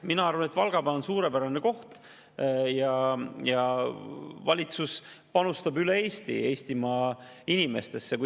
Mina arvan, et Valgamaa on suurepärane koht, ja valitsus panustab üle Eesti Eestimaa inimestesse.